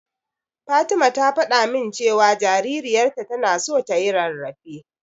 Fatima ta faɗa min cewa jaririyarta tana so tayi rarrafe.